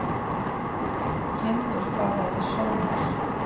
Kindur fara í sónar